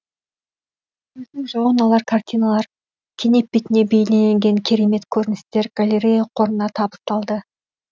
көздің жауын алар картиналар кенеп бетіне бейнеленген керемет көріністер галлерея қорына табысталды